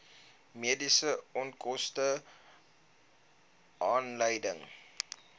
mediese onkoste aanleiding